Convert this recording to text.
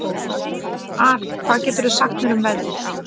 Arín, hvað geturðu sagt mér um veðrið?